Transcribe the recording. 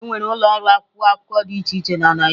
Enwere ụlọ ọrụ akwụkwọ akụkọ dị iche iche na Naịjirịa.